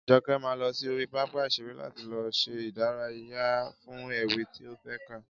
Joke máa lọ sí orí pápá ìṣeré láti lọ ṣe ìdárayá fún ewì tí ó fé kà